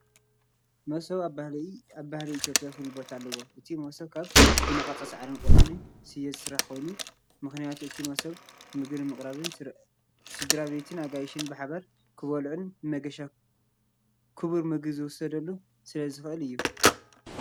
"መሶብ" ኣብ ባህሊ ኢትዮጵያ ፍሉይ ቦታ ኣለዎ። እቲ መሶብ ካብ ዝነቐጸ ሳዕርን ቆጽሊ ስየ ዝስራሕ ኮይኑ፡ ምኽንያቱ እቲ መሶብ ምግቢ ንምቕራብን ስድራቤትን ኣጋይሽን ብሓባር ክበልዑን ንመገሻ ኩቡር ምግቢ ትወስደሉን ስለዘኽእል አዩ።